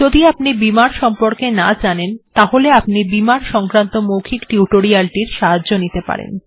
যদি আপনি বিমার্ সম্পর্কে না জানেন তাহলে আপনি বিমার্ সংক্রান্ত মৌখিক টিউটোরিয়াল্ টির সাহায্য নিতে পারেন